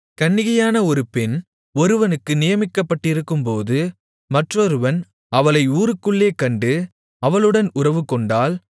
கன்னிகையான ஒரு பெண் ஒருவனுக்கு நியமிக்கப்பட்டிருக்கும்போது மற்றொருவன் அவளை ஊருக்குள்ளே கண்டு அவளுடன் உறவுகொண்டால்